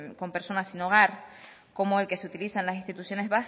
con personas sin hogar como el que se utiliza las instituciones